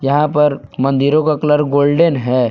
यहां पर मंदिरों का कलर गोल्डेन है।